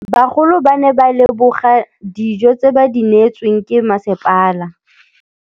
Bagolo ba ne ba leboga dijô tse ba do neêtswe ke masepala.